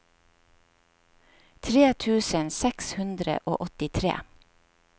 tre tusen seks hundre og åttitre